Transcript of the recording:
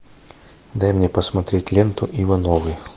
дай мне посмотреть ленту ивановы